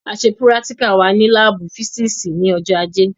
A ṣe púrátíkà wa ní láábù físììsì ní ọjọ́ ajé